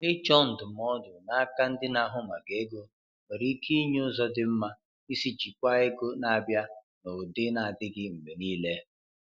Ịchọ ndụmọdụ n'aka ndị na-ahụ maka ego nwere ike inye ụzọ dị mma isi jikwaa ego na-abịa n’ụdị na-adịghị mgbe niile.